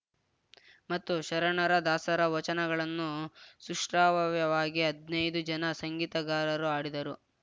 ಮತ್ತು ಶರಣರ ದಾಸರ ವಚನಗಳನ್ನು ಸುಶ್ರಾವ್ಯವಾಗಿ ಹದ್ನೈದು ಜನ ಸಂಗೀತಗಾರರು ಹಾಡಿದರು